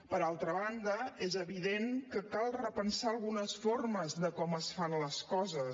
per altra banda és evident que cal repensar algunes formes de com es fan les coses